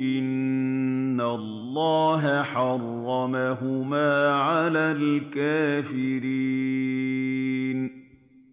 إِنَّ اللَّهَ حَرَّمَهُمَا عَلَى الْكَافِرِينَ